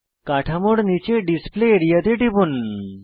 কাঠামোর নীচে display area তে টিপুন